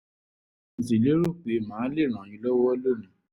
mo sì lérò pé màá lè ràn yín lọ́wọ́ lónìí